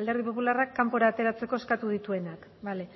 alderdi popularrak kanpora ateratzeko eskatu dituenak bale